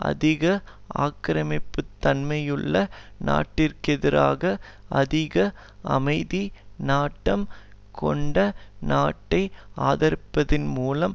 அதிக ஆக்கிரமிப்புத்தன்மையுள்ள நாட்டிற்கெதிராக அதிக அமைதி நாட்டம் கொண்ட நாட்டை ஆதரிப்பதன்மூலம்